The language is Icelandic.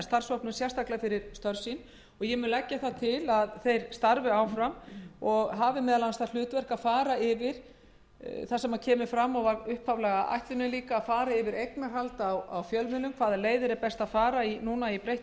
starfshópnum sérstaklega fyrir störf sín ég mun leggja það til við nefndarmenn að þeir starfi áfram og hafi meðal annars það hlutverk sem kemur fram og var upphaflega ætlunin að fara yfir eignarhald á fjölmiðlum hvaða leiðir er best að fara í breyttu